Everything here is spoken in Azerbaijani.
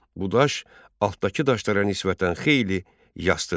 Bu daş altdakı daşlara nisbətən xeyli yastıdır.